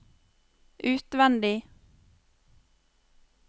utvendig